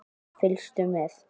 Fylgstu með!